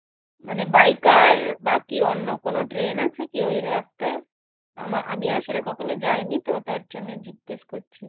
মানে by car বা কি অন্য করো ট্রেন আছে কি ওই রাস্তায়? আমা~ আমি আসলে কখনো যাই নি তো তার জন্য জিজ্ঞাসা করছি।